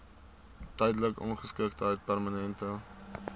tydelike ongeskiktheid permanente